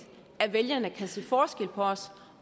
at vælgerne kan se forskel på os